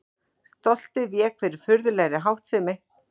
Stoltið vék fyrir furðulegri háttsemi.